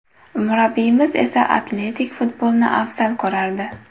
Murabbiyimiz esa atletik futbolni afzal ko‘rardi.